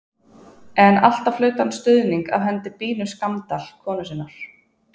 En alltaf hlaut hann stuðning af hendi Bínu Skammdal konu sinnar.